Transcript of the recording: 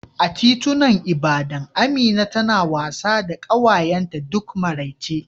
A titunan Ibadan, Amina tana wasa da ƙawayenta duk maraice